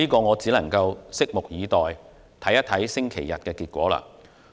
我只能拭目以待，看看星期日有何結果。